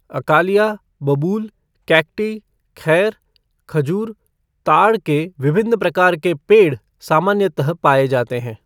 अकालिया, बबूल, कैकटी, खैर, खजूर, ताड़ के विभिन्न प्रकार के पेड़ सामान्यतः पाए जाते हैं।